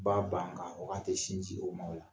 Ba ban ka hɔ k'a tɛ sin di o ma o la.